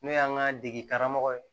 N'o y'an ka dege karamɔgɔ ye